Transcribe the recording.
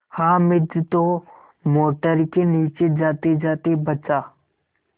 हामिद तो मोटर के नीचे जातेजाते बचा